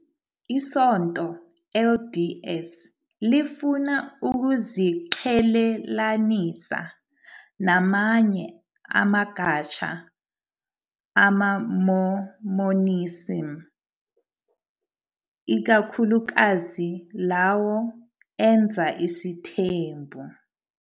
ISonto LDS lifuna ukuziqhelelanisa namanye amagatsha amaMormonism, ikakhulukazi lawo enza isithembu.